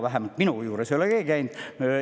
Vähemalt minu juures ei ole keegi käinud.